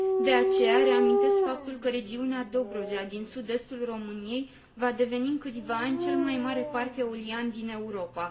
De aceea reamintesc faptul că regiunea Dobrogea, din sud estul României, va deveni în câțiva ani cel mai mare parc eolian din Europa.